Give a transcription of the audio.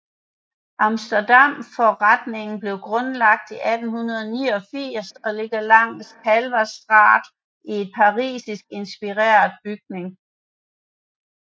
Amsterdamforretningen blev grundlagt i 1889 og ligger langs Kalverstraat i et parisisk inspireret bygning